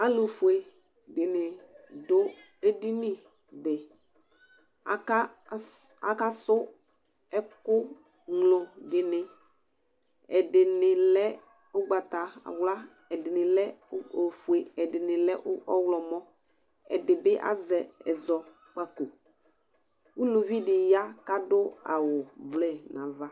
Alʋ fue dɩnɩ dʋ edini beAka sʋ ɛkʋ ŋlo dɩnɩ ,ɛdɩnɩ lɛ ʋgbatawla, ɛdɩnɩ lɛ ofue, ɛdɩnɩ lɛ ɔɣlɔmɔ, ɛdɩ bɩ azɛ ɛzɔkpakoUluvi ɖɩ ya kʋ adʋ awʋ blue n' ava